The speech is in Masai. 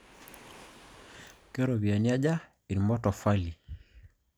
Keropiyiani aja irmatofalini?